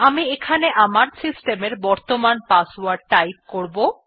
আমি এখানে আমার সিস্টেম এর বর্তমান পাসওয়ার্ড টাইপ করব